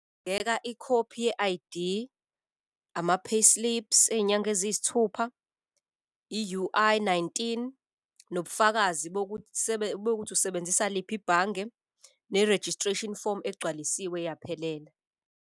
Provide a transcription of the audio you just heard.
ikhophi ye-I_D, ama-payslips ey'nyanga eziyisithupha, i-U_I nineteen, nobufakazi bokuthi usebenzisa liphi ibhange ne-registration form egcwalisiwe yaphelela.